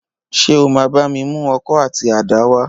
Ṣé o máa bá mi mú ọkọ̀ àti àdá wá?